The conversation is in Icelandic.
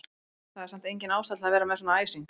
Það er samt engin ástæða til að vera með svona æsing!